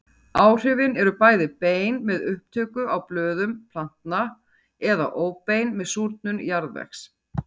Áhrifin eru bæði bein með upptöku á blöðum plantna eða óbein með súrnun jarðvegs.